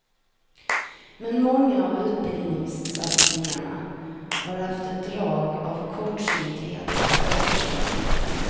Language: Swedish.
Men många av utbildningssatsningarna har haft ett drag av kortsynthet över sig.